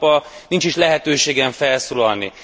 Mai nap nincs is lehetőségem felszólalni.